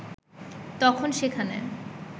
তখন সেখানে